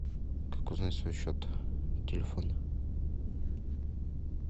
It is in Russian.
как узнать свой счет телефона